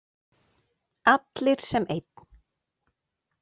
Allir sem einn.